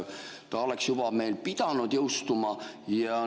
Ta oleks juba meil pidanud jõustuma.